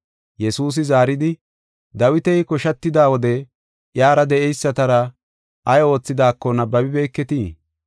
Yesuusi zaaridi, “Dawiti koshatida wode iyara de7eysatara ay oothidaako nabbabibeketii?